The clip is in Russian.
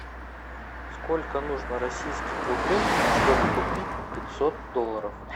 сколько нужно российских рублей чтобы купить пятьсот долларов